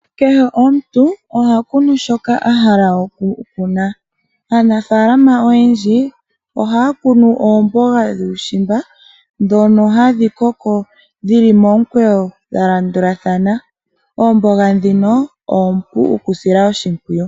Kehe omuntu oha kunu shoka ahala oku kuna, aanafaalama oyendji oha ya kunu oomboga dhuushimba dhono hadhi koko dhi li momukweyo dha landulathana, oomboga dhino oompu oku sila oshimpwiyu.